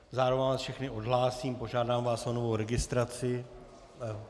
Zároveň vás všechny odhlásím, požádám vás o novou registraci.